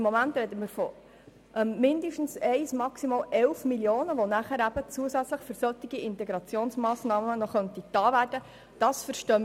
Im Moment sprechen wir von mindestens 1 Mio. Franken bis maximal 11 Mio. Franken, die dann eben zusätzlich für solche Integrationsmassnahmen genutzt werden könnten.